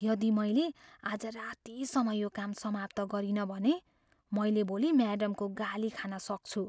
यदि मैले आज रातिसम्म यो काम समाप्त गरिनँ भने, मैले भोलि म्याडमको गाली खान सक्छु।